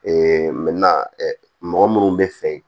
mɔgɔ minnu bɛ fɛ